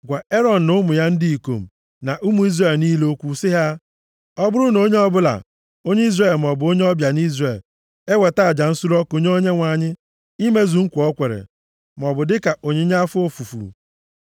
“Gwa Erọn na ụmụ ya ndị ikom na ụmụ Izrel niile okwu sị ha, ‘Ọ bụrụ na onye ọbụla, onye Izrel maọbụ onye ọbịa nʼIzrel, eweta aja nsure ọkụ nye Onyenwe anyị imezu nkwa o kwere, maọbụ dịka onyinye afọ ofufu,